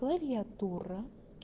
клавиатура